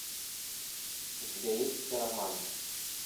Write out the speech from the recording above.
у тебя есть хиромант